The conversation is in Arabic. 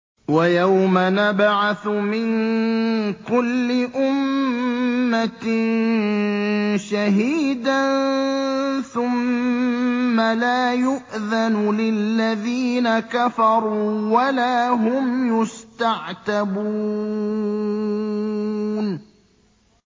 وَيَوْمَ نَبْعَثُ مِن كُلِّ أُمَّةٍ شَهِيدًا ثُمَّ لَا يُؤْذَنُ لِلَّذِينَ كَفَرُوا وَلَا هُمْ يُسْتَعْتَبُونَ